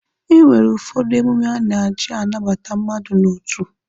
E nwere ụfọdụ emume a na-aji anabata mmadụ n'otu